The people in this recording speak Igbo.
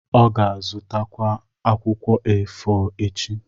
ọ ga-azụtakwu akwụkwọ A4 echi.